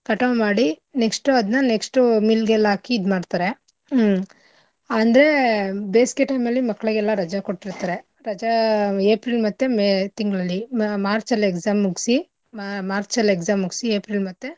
ಕಟಾವ್ ಮಾಡಿ next ಉ ಅದ್ನ next ಉ mill ಗೆಲ್ಲ ಆಕಿ ಇದ್ಮಾಡ್ತಾರೆ. ಹ್ಮ್ ಅಂದ್ರೆ ಬೇಸ್ಗೆ time ಅಲ್ಲಿ ಮಕ್ಳಿಗೆಲ್ಲಾ ರಜಾ ಕೊಟ್ಟಿರ್ತಾರೆ. ರಜಾ April ಮತ್ತೆ May ತಿಂಗಳಲ್ಲಿ ಮ~ March ಅಲ್ exam ಮುಗ್ಸಿ March ಅಲ್ exam ಮುಗ್ಸಿ April ಮತ್ತೆ.